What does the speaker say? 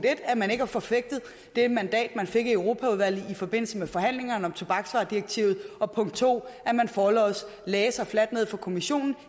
at man ikke har forfægtet det mandat man fik i europaudvalget i forbindelse med forhandlingerne om tobaksvaredirektivet og punkt to at man forlods lagde sig fladt ned for kommissionen